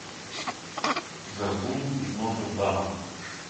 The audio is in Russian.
горбун из нотр дама